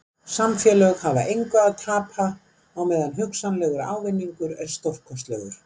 Samfélög hafa engu að tapa á meðan hugsanlegur ávinningur er stórkostlegur.